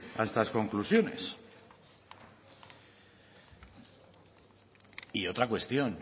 a estas conclusiones y otra cuestión